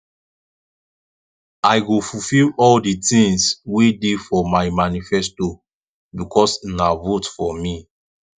i go fulfill all the things wey dey for my manifesto because una vote for me